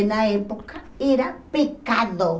E na época era pecado.